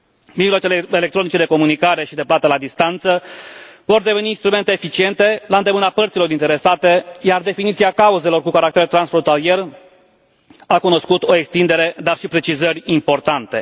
Mijloacele electronice de comunicare și de plată la distanță vor deveni instrumente eficiente, la îndemâna părților interesate, iar definiția cauzelor cu caracter transfrontalier a cunoscut o extindere, dar și precizări importante.